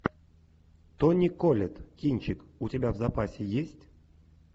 тони коллетт кинчик у тебя в запасе есть